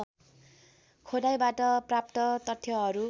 खोदाइबाट प्राप्त तथ्यहरू